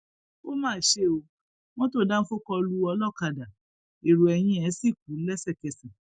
ó má ṣe ọ mọtò dánfọ kó lu olókàdá èrò eyín ẹ sì kú lẹsẹkẹsẹ